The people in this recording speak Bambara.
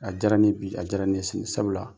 A diyara ne bi, a diyara ne sini sabula